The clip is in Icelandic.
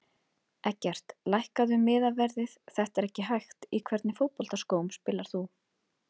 Eggert lækkaðu miðaverðið þetta er ekki hægt Í hvernig fótboltaskóm spilar þú?